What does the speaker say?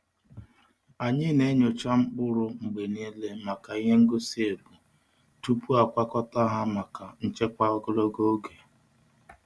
Anyị na-enyocha mkpụrụ mgbe niile maka ihe ngosi ebu tupu e kwakọta ha maka nchekwa ogologo oge.